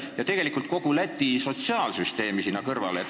Ja selle kõrval võiks arvestada kogu Läti sotsiaalsüsteemi.